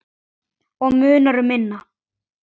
Og munar um minna!